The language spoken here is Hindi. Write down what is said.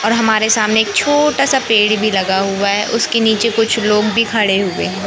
और हमारे सामने एक छोटासा पेड़ भी लगा हुआ है उसके नीचे कुछ लोग भी खड़े हुए हैं।